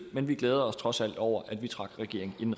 men vi glæder os trods alt over at vi trak regeringen